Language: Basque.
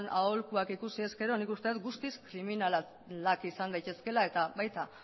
aholkuak ikusi ezkero nik uste dut guztiz kriminalak izan daitezkeela eta baita